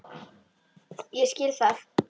Ég skil það.